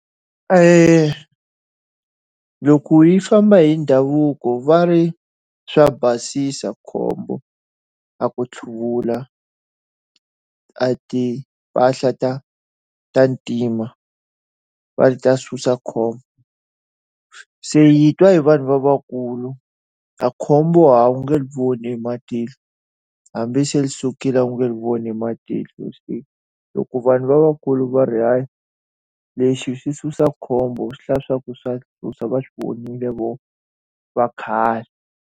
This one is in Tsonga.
loko yi famba hi ndhavuko va ri swa basisa khombo a ku hluvula a timpahla ta ta ntima, va ri ta susa khombo. Se hi twa hi vanhu lavakulu makhombo a wu nga ri voni hi matihlo hambi se ri sukile u nga ri voni hi matihlo loko vanhu lavakulu va ri hayi, lexi xi susa khombo swi hlaya leswaku swa susa va swi vonile vona va khale.